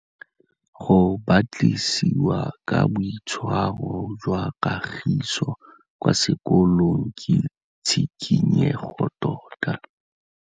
Go batlisisa ka boitshwaro jwa Kagiso kwa sekolong ke tshikinyêgô tota.